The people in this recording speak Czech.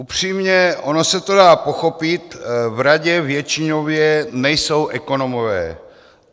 Upřímně, ono se to dá pochopit, v radě většinově nejsou ekonomové.